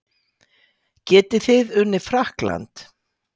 Getið þið unnið Frakkland?